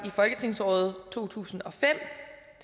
i folketingsåret to tusind og fem